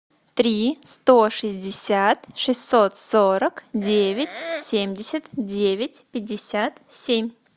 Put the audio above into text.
три сто шестьдесят шестьсот сорок девять семьдесят девять пятьдесят семь